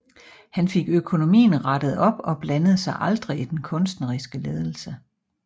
Han fik økonomien rettet op og blandede sig aldrig i den kunstneriske ledelse